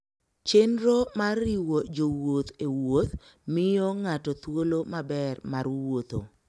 Chenro mar riwo jowuoth e wuoth miyo ng'ato thuolo maber mar wuotho